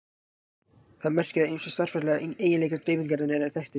Það merkir að ýmsir stærðfræðilegir eiginleikar dreifingarinnar eru þekktir.